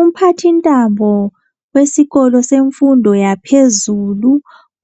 Umphathintambo wesikolo semfundo yaphezulu